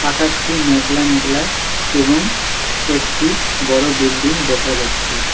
আকাশটি মেঘলা মেঘলা এবং একটি বড়ো বিল্ডিং দেখা যাচ্ছে।